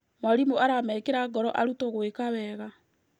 Mwarimũ aramekĩra ngoro arutwo gwĩka wega.